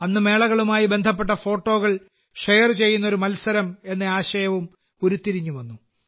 അന്ന് മേളകളുമായി ബന്ധപ്പെട്ട ഫോട്ടോകൾ ഷെയർ ചെയ്യുന്ന ഒരു മത്സരം എന്ന ആശയവും ഉരുതിരിഞ്ഞുവന്നു